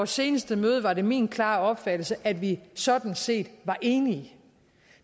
seneste møde var det min klare opfattelse at vi sådan set var enige